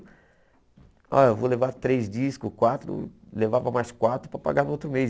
Olha, eu vou levar três discos, quatro, levava mais quatro para pagar no outro mês.